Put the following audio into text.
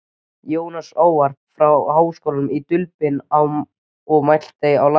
Jónsson ávarp frá Háskólanum í Dublin og mælti á latínu.